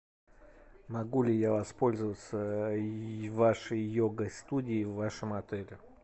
могу ли я воспользоваться вашей йога студией в вашем отеле